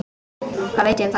Hvað veit ég um það?